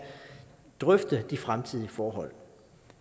drøfte de fremtidige forhold